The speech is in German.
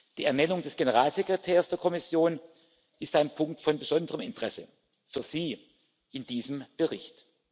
Die Ernennung des Generalsekretärs der Kommission ist ein Punkt von besonderem Interesse für Sie in diesem Bericht.